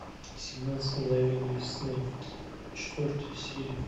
семнадцать мгновений весны четвертая серия